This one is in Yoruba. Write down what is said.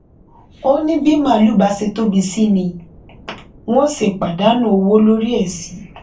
ó ní bí màálùú bá ṣe tóbi sí ni wọn ṣe ń pàdánù owó lórí ẹ sí